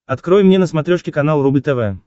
открой мне на смотрешке канал рубль тв